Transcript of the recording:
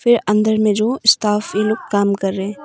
ये अंदर में जो स्टाफ लोग काम कर रहे।